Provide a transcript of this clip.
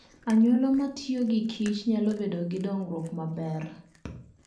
Anyuola ma tiyo gi Kich nyalo bedo gi dongruok maber.